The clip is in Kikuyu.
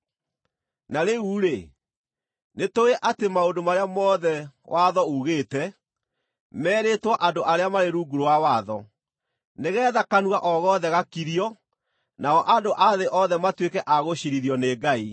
Na rĩu-rĩ, nĩtũũĩ atĩ maũndũ marĩa mothe watho uugĩte, merĩtwo andũ arĩa marĩ rungu rwa watho, nĩgeetha kanua o gothe gakirio, nao andũ a thĩ othe matuĩke a gũciirithio nĩ Ngai.